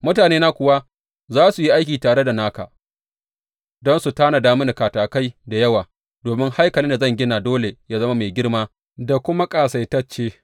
Mutanena kuwa za su yi aiki tare da naka don su tanada mini katakai da yawa, domin haikalin da zan gina dole yă zama mai girma da kuma ƙasaitacce.